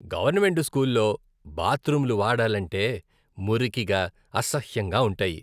Government స్కూల్లో బాత్రూంలు వాడాలంటే మురికిగా, అసహ్యంగా ఉంటాయి.